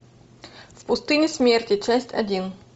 в пустыне смерти часть один